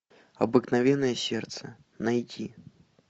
обыкновенное сердце найти